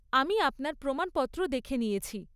আমি আপনার প্রমাণপত্র দেখে নিয়েছি।